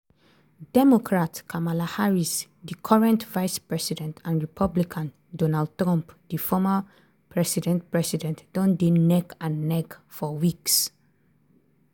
democrat kamala harris di current vice-president and republican donald trump di former president president don dey neck-and-neck for weeks.